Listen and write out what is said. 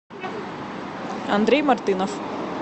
андрей мартынов